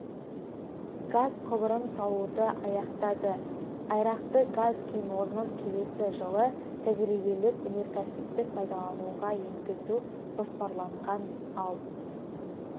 газ құбырын салуды аяқтады айрақты газ кен орнын келесі жылы тәжірибелік-өнеркәсіптік пайдалануға енгізу жоспарланған ал